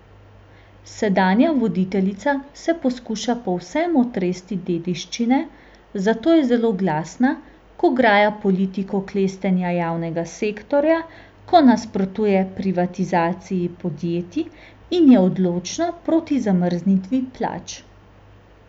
Sedanja voditeljica se poskuša povsem otresti dediščine, zato je zelo glasna, ko graja politiko klestenja javnega sektorja, ko nasprotuje privatizaciji podjetij in je odločno proti zamrznitvi plač.